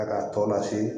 A ka tɔ lase